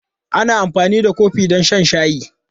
Ana amfani da kofi don shan shayi.